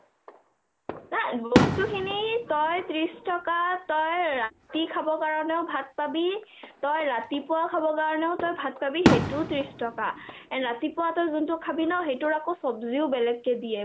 বস্তুখিনি তই ত্ৰিছ টকাত তই ৰাতি খাব কাৰণেও ভাত পাবি , তই ৰাতিপুৱা খাব কাৰণেও তই ভাত পাবি সেইটো ত্ৰিছ টকা and ৰাতিপুৱা যোনটো খাবি সেইটো আকৌ চবজি বেলেগকৈ দিয়ে